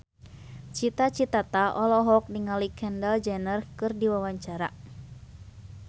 Cita Citata olohok ningali Kendall Jenner keur diwawancara